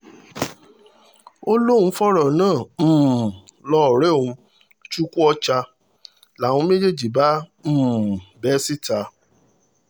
ó lóun fọ̀rọ̀ náà um lọ ọ̀rẹ́ òun chukwuocha làwọn méjèèjì bá um bẹ́ síta